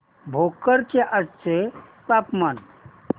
भोकर चे आजचे तापमान